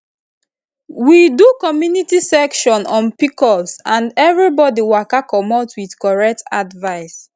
we do community session on pcos and everybody waka commot with correct advice